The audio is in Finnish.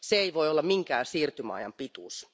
Se ei voi olla minkään siirtymäajan pituus.